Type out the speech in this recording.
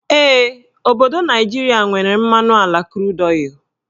Ee, obodo Naijiria nwere mmadụ ala krud ọịlụ